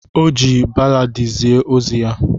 O ji balladi zie ozi ya.